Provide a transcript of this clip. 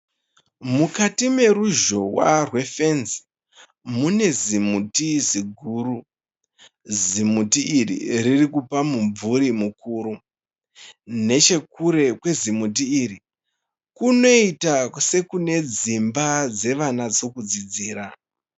Mukati meruzhowa rwefenzi, mune zimuti ziguru. Zimuti iri ririkupa mumvuri mukuru. Nechekure kwezimuti iri, kunoita sekune dzimba dzevana dzokudzidzira.